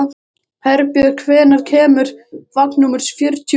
Herbjörn, hvenær kemur vagn númer fjörutíu og sjö?